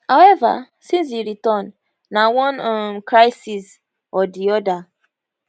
however since e return na one um crisis or di oda